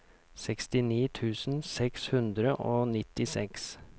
sekstini tusen seks hundre og nittiseks